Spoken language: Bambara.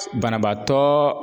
Banabaatɔ